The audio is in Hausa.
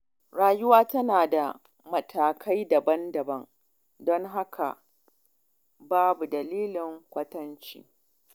Rayuwa tana da matakai daban-daban, don haka babu dalilin kwatance.